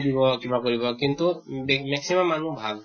দিব কিবা কৰিব কিন্তু বেহ maximum মানুহ ভাল